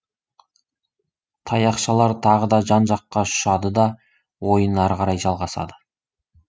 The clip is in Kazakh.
таяқшалар тағы да жан жаққа ұшады да ойын ары қарай жалғасады